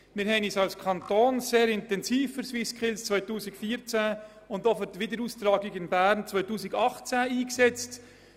Wir haben uns als Kanton sehr intensiv für die SwissSkills 2014 und für die Wiederaustragung 2018 in Bern eingesetzt.